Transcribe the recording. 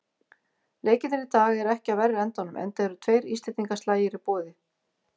Leikirnir í dag eru ekki af verri endanum, enda eru tveir íslendingaslagir í boði.